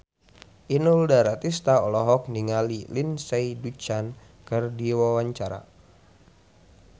Inul Daratista olohok ningali Lindsay Ducan keur diwawancara